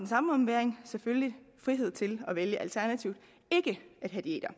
samme ombæring selvfølgelig frihed til at vælge alternativt ikke at have diæter